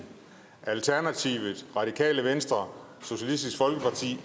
alternativet radikale venstre socialistisk folkeparti